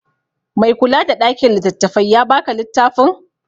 Mai kula da ɗakin littattafai ya ba ka littafin?